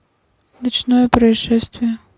ночное происшествие